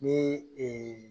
Ni